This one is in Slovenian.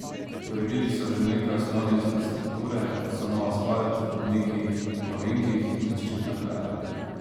Uredili so že nekaj osnovne infrastrukture, kot so nov asfalt, robniki na ovinkih in zaščitne ograje.